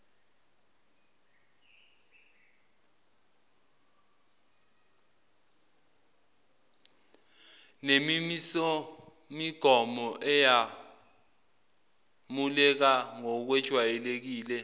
nemimisomigomo eyamukeleka ngokwejwayelekile